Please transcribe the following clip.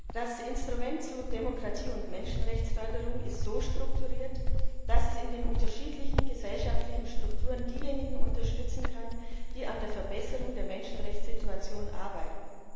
Das Instrument zu Demokratie und Menschenrechtsförderung ist so strukturiert, dass es in den unterschiedlichen gesellschaftlichen Strukturen diejenigen unterstützen kann, die an der Verbesserung der Menschenrechtssituation arbeiten.